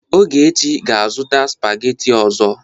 Ogechi ga-azụta sụpagheti ọzọ.